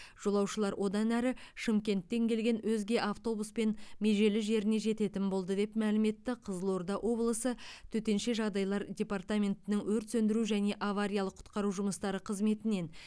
жолаушылар одан әрі шымкенттен келген өзге автобуспен межелі жеріне жететін болды деп мәлім етті қызылорда облысы төтенше жағдайлар департаментінің өрт сөндіру және авариялық құтқару жұмыстары қызметінен